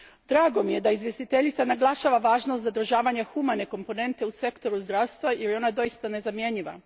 Drago mi je da izvjestiteljica naglašava važnost zadržavanja humane komponente u sektoru zdravstva jer je ona doista nezamjenjiva.